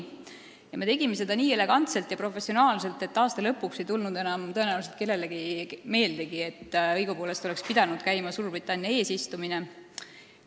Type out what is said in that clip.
Ja me tegime seda nii elegantselt ja professionaalselt, et aasta lõpuks ei tulnud tõenäoliselt kellelegi enam meeldegi, et õigupoolest oleks pidanud käima Suurbritannia eesistumine.